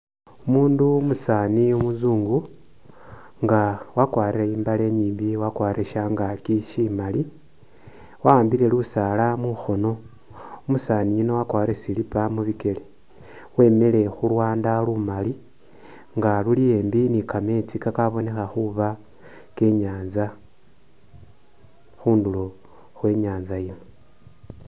Umundu umusani umuzungu nga akwarile imbale inyimbi wakwarele shangakyi shimali wa’ambile Lusala mungono umusaniyuno wakwarile slipper mubikele wemile khulwanda lumali nga luli ambi nikametsi kabonekha khuba kenyatsa khunduro khwenyantsa ino